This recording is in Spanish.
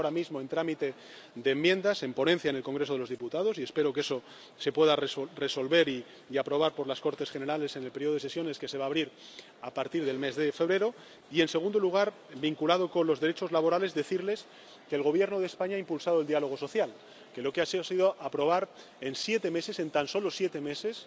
Está ahora mismo en trámite de enmiendas, en ponencia en el Congreso de los Diputados, y espero que se pueda resolver y aprobar por las Cortes Generales en el periodo de sesiones que se va a abrir a partir del mes de febrero. Y, en segundo lugar, en relación con los derechos laborales, quiero decirles que el Gobierno de España ha impulsado el diálogo social, que ha aprobado en siete meses —en tan solo siete meses—